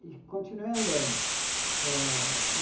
E continuei andando. Eh...